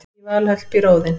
í valhöll býr óðinn